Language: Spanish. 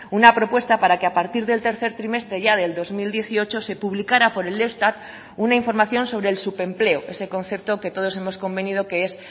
una propuesta para que a partir del tercer trimestre ya del dos mil dieciocho se publicara por el eustat una información sobre el subempleo ese concepto que todos hemos convenido que es